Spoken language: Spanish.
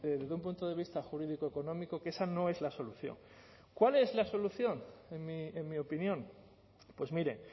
desde un punto de vista jurídico económico que esa no es la solución cuál es la solución en mi opinión pues mire